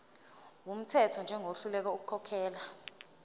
wumthetho njengohluleka ukukhokhela